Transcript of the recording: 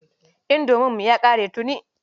Indominmu ya ƙare tuni.